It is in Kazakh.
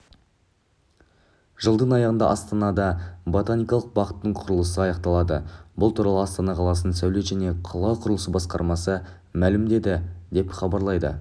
жылдың аяғында астанада ботаникалық бақтың құрылысы аяқталады бұл туралы астана қаласының сәулет және қала құрылысы басқармасы мәлімдеді деп хабарлайды